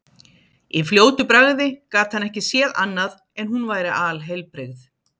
Í fljótu bragði gat hann ekki séð annað en hún væri alheilbrigð.